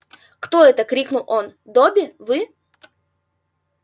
кто это крикнул он добби вы